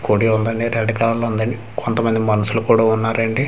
కోడి ఉందండి red colour లో ఉందండి కొంత మంది మనుషులు కూడ ఉన్నారండి .]